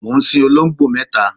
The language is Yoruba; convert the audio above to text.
mò ń sin olongbo mẹta